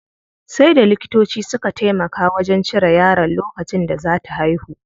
Sai da likitoci suka taimaka wajen cire yaron lokacin da zaa ta haihu.